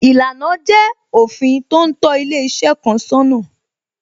Ìlànà jẹ́ òfin tó ń tó ilé iṣẹ́ kan sọ́nà